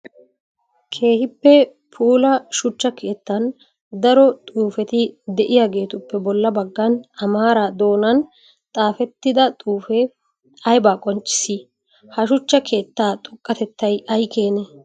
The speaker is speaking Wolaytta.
Keehippe puula shuchcha keettan daro xuufetti de'iyaagetuupe bolla bagan amaara doonan xaafettida xuufe aybba qonccissi? Ha shuchcha keetta xoqatettay ay keene?